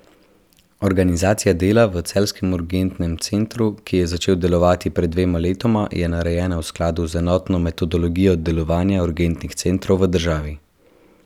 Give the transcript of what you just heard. Organizacija dela v celjskem urgentnem centru, ki je začel delovati pred dvema letoma, je narejena v skladu z enotno metodologijo delovanja urgentnih centrov v državi.